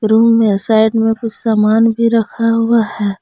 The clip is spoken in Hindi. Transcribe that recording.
रूम में साइड में कुछ सामान भी रखा हुआ है।